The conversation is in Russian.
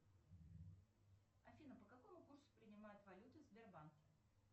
афина по какому курсу принимают валюту в сбербанке